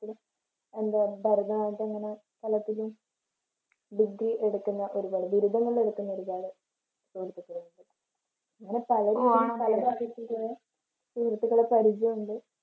എന്താ ഭരതനാട്യം ഇങ്ങനെ കഥകളി എടുക്കുന്ന ബിരുദങ്ങൾ എടുക്കുന്ന ഒരു കാലം സുഹൃത്തുക്കളുമുണ്ട്. അങ്ങനെ പല സുഹൃത്തുക്കളെ പരിചയമുണ്ട്